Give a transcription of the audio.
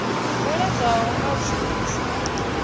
bveledzwaho nga u shumiswa ha